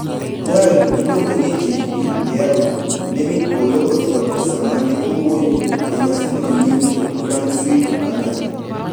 Jal miluongo niJP Ndaeau ne mil polo ochwado sama ne owuoyo e nyasino New Brunswick, Canada.